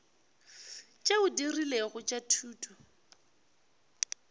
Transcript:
tšeo di rilego tša thuto